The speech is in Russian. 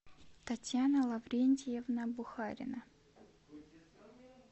татьяна лаврентьевна бухарина